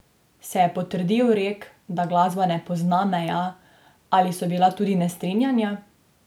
Se je potrdil rek, da glasba ne pozna meja, ali so bila tudi nestrinjanja?